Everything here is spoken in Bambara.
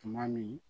Tuma min